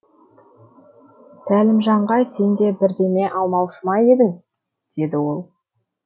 сәлімжанға сен де бірдеме алмаушы ма едің деді ол